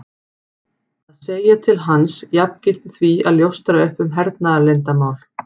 Að segja til hans jafngilti því að ljóstra upp um hernaðarleyndarmál.